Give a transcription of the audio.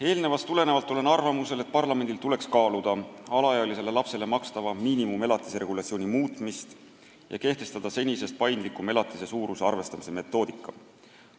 Eelöeldust tulenevalt olen arvamusel, et parlamendil tuleks kaaluda alaealisele lapsele makstava miinimumelatise regulatsiooni muutmist ja kehtestada senisest paindlikum elatise suuruse arvestamise metoodika.